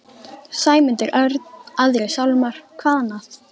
Sæmundur Örn, Aðrir sálmar, hvað annað?